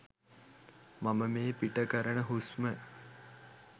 මම මේ පිට කරන හුස්ම